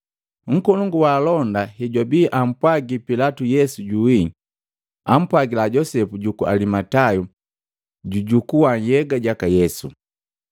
Nkolongu wa alonda hejwabii ampwagi Pilatu Yesu juwii, ampwagila Josepu juku Alimatayo jajukua nhyega jaka Yesu.